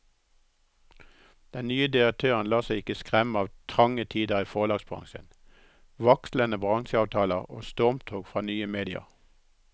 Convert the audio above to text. Den nye direktøren lar seg ikke skremme av trange tider i forlagsbransjen, vaklende bransjeavtaler og stormtog fra nye medier.